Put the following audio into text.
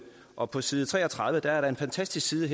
og på side tre og tredive som er en fantastisk side